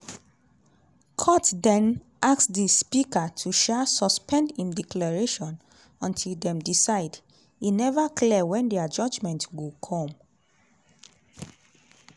court den ask di speaker to um suspend im declaration until dem decide - e never clear wen dia judgement go come.